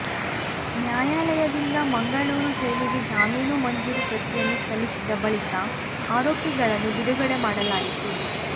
ನ್ಯಾಯಾಲಯದಿಂದ ಮಂಗಳೂರು ಜೈಲಿಗೆ ಜಾಮೀನು ಮಂಜೂರು ಪ್ರತಿಯನ್ನು ಸಲ್ಲಿಸಿದ ಬಳಿಕ ಆರೋಪಿಗಳನ್ನು ಬಿಡುಗಡೆ ಮಾಡಲಾಯಿತು